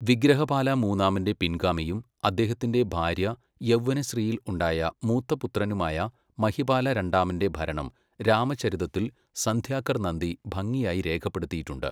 വിഗ്രഹപാല മൂന്നാമന്റെ പിൻഗാമിയും അദ്ദേഹത്തിന്റെ ഭാര്യ യൗവനശ്രീയിൽ ഉണ്ടായ മൂത്ത പുത്രനുമായ മഹിപാല രണ്ടാമന്റെ ഭരണം രാമചരിതത്തിൽ സന്ധ്യാകർ നന്ദി ഭംഗിയായി രേഖപ്പെടുത്തിയിട്ടുണ്ട്.